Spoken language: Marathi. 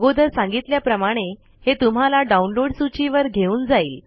अगोदर सांगितल्या प्रमाणे हे तुम्हाला डाउनलोड सूची वर घेऊन जाइल